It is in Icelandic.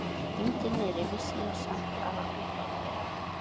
Undir niðri vissi ég samt að eitthvað var rangt.